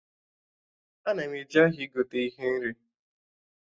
Ana m eje ahịa igote ihe nri